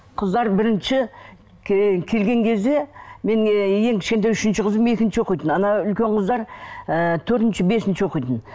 қыздар бірінші келген кезде менің ең кішкентай үшінші қызым екінші оқитын ана үлкен қыздар ыыы төртінші бесінші оқитын